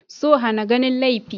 So hana ganin laifi.